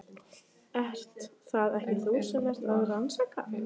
Ert það ekki þú sem ert að rannsaka.